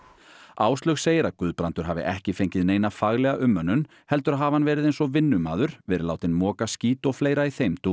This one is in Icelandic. Áslaug segir að Guðbrandur hafi ekki fengið neina faglega umönnun heldur hafi hann verið eins og vinnumaður verið látinn moka skít og fleira í þeim dúr